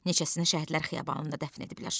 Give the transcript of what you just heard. Neçəsini şəhidlər xiyabanında dəfn ediblər.